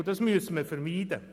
Und das müssen wir vermeiden.